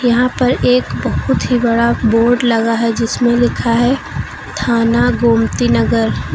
यहां पर एक बहोत ही बड़ा बोर्ड लगा है जिसमें लिखा है थाना गोमती नगर।